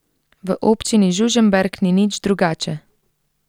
V občini Žužemberk ni nič drugače.